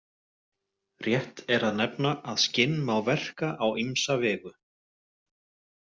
Rétt er að nefna að skinn má verka á ýmsa vegu.